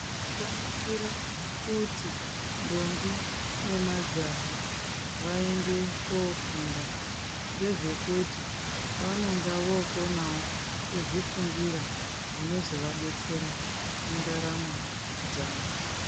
Zvakanakira kuti ndombi nemajaha vaende koofunda, ngezvekuti vanonga vokonawo kuzvifungira zvinozovadetsera mundaramo dzavo.